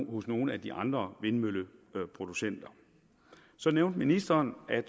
hos nogle af de andre vindmølleproducenter så nævnte ministeren at